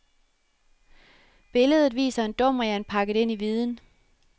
Billedet viser en dumrian pakket ind i viden.